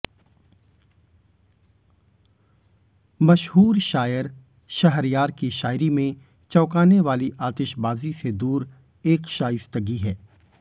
मशहूर शायर शहरयार की शायरी में चौंकानेवाली आतिशबाज़ी से दूर एक शाइस्तगी है